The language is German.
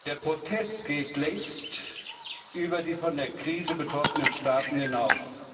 Der Protest geht längst über die von der Krise betroffenen Staaten hinaus.